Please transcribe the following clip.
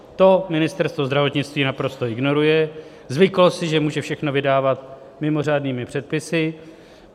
To Ministerstvo zdravotnictví naprosto ignoruje, zvyklo si, že může všechno vydávat mimořádnými předpisy.